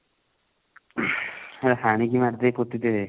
ନହେଲେ ହାଣିକି ମାରିଦେଇକି ପୋତି ଦେବେ